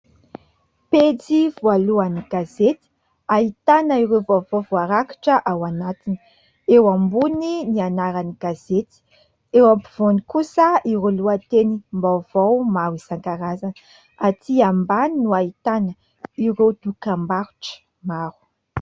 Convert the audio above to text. Pejy voalohan'ny gazety ahitana ireo vaovao voarakitra ao anatiny. Eo ambony ny anaran'ny gazety, eo ampovoany kosa iro loha-tenim-mbaovao maro isankarazany. Aty ambany no ahitana ireo dokam-barotra maro.